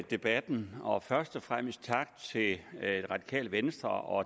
debatten og først og fremmest tak til det radikale venstre og